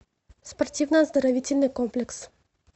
спортивно оздоровительный комплекс